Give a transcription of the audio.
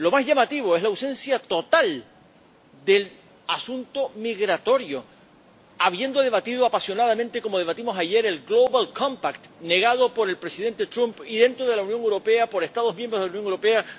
Lo más llamativo es la ausencia total del asunto migratorio, habiendo debatido apasionadamente como debatimos ayer el Global Compact negado por el presidente Trump y, dentro de la Unión Europea, por Estados miembros de la Unión Europea